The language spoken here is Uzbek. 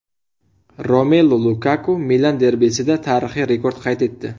Romelu Lukaku Milan derbisida tarixiy rekord qayd etdi.